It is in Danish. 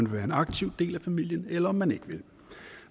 være en aktiv del af familien eller om man ikke vil